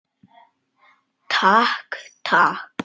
Takk, takk.